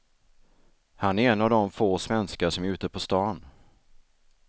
Han är en av de få svenskar som är ute på stan.